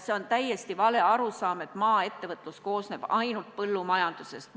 See on täiesti vale arusaam, et maaettevõtlus koosneb ainult põllumajandusest.